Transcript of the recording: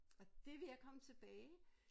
Og det ved at komme tilbage